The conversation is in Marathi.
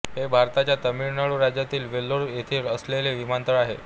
हे भारताच्या तामिळनाडू राज्यातील वेल्लोर येथे असलेले विमानतळ आहे